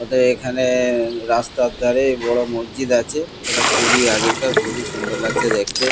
ওতো এখানে-এ রাস্তার ধারে বড়ো মসজিদ আছে এটা খুবই আগেকার খুবই সুন্দর লাগছে দেখতে।